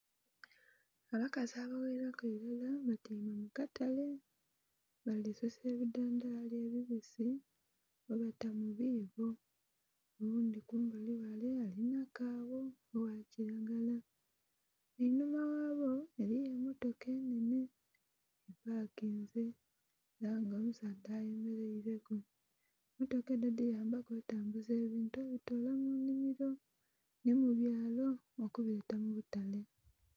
Abakazi abagherere irala batyaime mukatale balisusa ebidhandhali ebibisi bwebata mubibo oghundhi kumbali ghale alinha kagho oghakiragala. Enhuma ghabo eriyo emmotoka enhenhe epakinze era nga omusaadha ayemerereku, emmotoka edho dhiyambaku otambuza ebintu obitola munhimiro nhimubyalo okubileta mubutale.